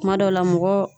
Kuma dɔw la mɔgɔ